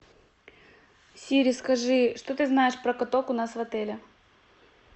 сири скажи что ты знаешь про каток у нас в отеле